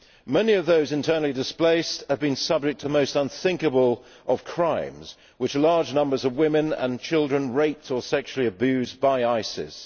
Many of those internally displaced have been subject to the most unthinkable of crimes, with large numbers of women and children raped or sexually abused by ISIS.